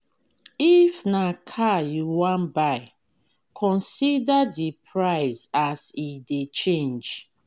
if na car you wan buy consider di price as e dey change